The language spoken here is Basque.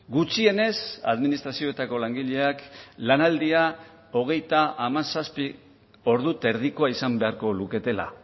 gutxienez administrazioetako langileak lanaldia hogeita hamazazpi ordu eta erdikoa izan beharko luketela